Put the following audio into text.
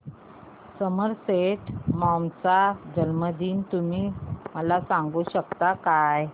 Somerset Maugham चा जन्मदिन तुम्ही मला सांगू शकता काय